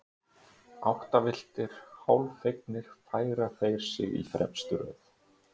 Áttavilltir, hálffegnir, færa þeir sig í fremstu röð.